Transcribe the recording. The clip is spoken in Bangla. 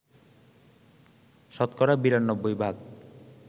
শতকরা ৯২ ভাগ